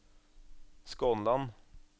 Skånland